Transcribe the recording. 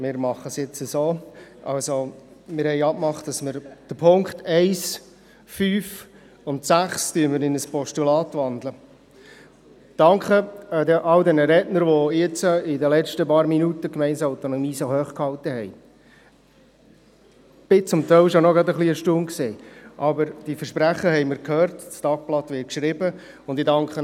Ich bitte Sie, den Punkten, die wir in ein Postulat gewandelt haben, zuzustimmen und die andern, die immer noch als Motion bestehen, als Motion anzunehmen.